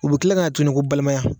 U bɛ kila ka na tuguni ko balimaya.